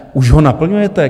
Už ho naplňujete?